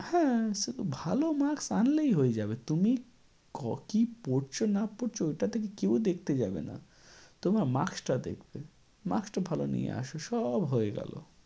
হ্যাঁ, শুধু ভালো marks আনলেই হয়ে যাবে। তুমি ক~ কী পড়ছ না পড়ছ ওটা থেকে কেও দেখতে যাবে না, তোমার marks টা দেখবে। marks টা ভালো নিয়ে আসো সব হয়ে গেল।